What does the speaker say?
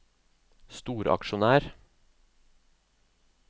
storaksjonær